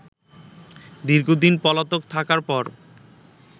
দীর্ঘদিন পলাতক থাকার পর